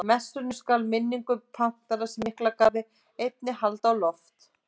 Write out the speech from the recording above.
Í messunni skal minningu patríarkans í Miklagarði einni haldið á loft.